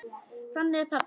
Þannig er pabbi.